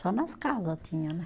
Só nas casa tinha né